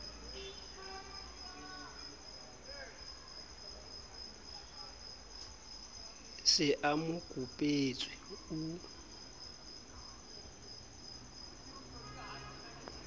se a mo kopetswe o